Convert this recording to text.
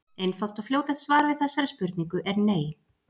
Einfalt og fljótlegt svar við þessari spurningu er nei.